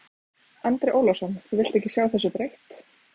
Andri Ólafsson: Þú vilt ekki sjá þessu breytt?